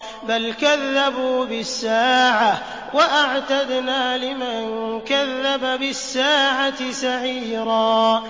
بَلْ كَذَّبُوا بِالسَّاعَةِ ۖ وَأَعْتَدْنَا لِمَن كَذَّبَ بِالسَّاعَةِ سَعِيرًا